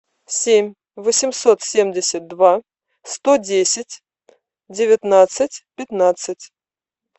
семь восемьсот семьдесят два сто десять девятнадцать пятнадцать